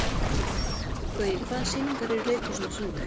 Gaui, hvaða sýningar eru í leikhúsinu á sunnudaginn?